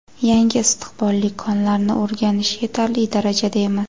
Yangi istiqbolli konlarni o‘rganish yetarli darajada emas.